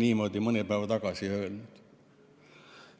niimoodi mõni päev tagasi ütles?